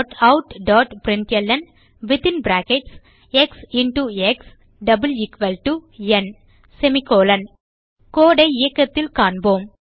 Systemoutprintlnஎக்ஸ் x ந் code ஐ இயக்கத்தில் காண்போம்